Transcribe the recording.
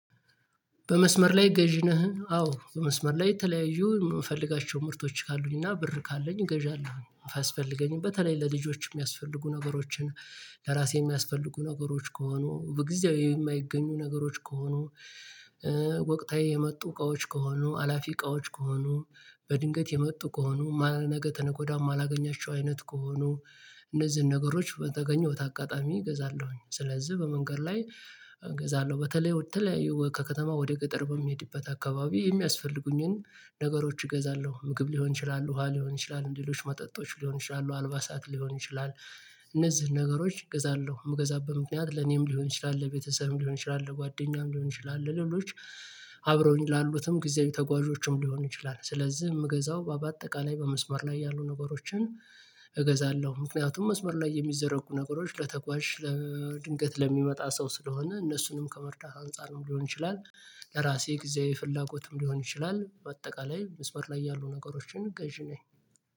በመስመር ላይ ገዢ ነህ? አዎ በመስመር ላይ የተለያዩ የምፈልጋቸው ምርቶች ካሉኝና ብር ካለኝ እገዣለሁ አስፈልገኝ በተለይ ለልጆች የሚያስፈልጉ ነገሮችን ለራሴ የሚያስፈልጉ ነገሮች ከሆኑ በጊዜው የማይገኙ ነገሮች ከሆኑ ወቅታዊ የመጡ እቃዎች ከሆኑ አላፊ እቃዎች ከሆኑ በድንገት የመጡ ከሆኑ ማል ማነገተነጎዳም አላገኛቸው አይነት ከሆኑ እነዚህን ነገሮች በተገኘሁት አጋጣሚ እገዛለሁኝ ስለዚህ በመንገድ ላይ እገዛለሁ በተለይ በተለያዩ ከከተማ ወደ ገጠር በሚሄድበት አካባቢ የሚያስፈልጉኝን ነገሮች እገዛለሁ። ምግብ ሊሆን ይችላሉ ውሃ ሊሆን ይችላሉ ሌሎች መጠጦች ሊሆን ይችላሉ አልባ ሳት ሊሆን ይችላል እነዚህ ነገሮች እገዛለሁ የምገዛበት ምክንያት ለኔም ሊሆን ይችላል ለቤተሰብም ሊሆን ይችላል ለጓደኛም ሊሆን ይችላል ለሌሎች አብረውኝ ላሉትም ጊዜያዊ ተጓዦችም ሊሆን ይችላል ስለዚህ የምገዛው በአጠቃላይ በመስመር ላይ ያሉ ነገሮችን እገዛለሁ ምክንያቱም መስመር ላይ የሚዘረጉ ነገሮች ለተጓዥ ለድንገት ለሚመጣ ሰው ስለሆነ እነሱንም ከመርዳት አንፃርም ሊሆን ይችላል። ለራሴ ጊዜ ፍላጎትም ሊሆን ይችላል በአጠቃላይ መስመር ላይ ያሉ ነገሮችን ገዢ ነኝ።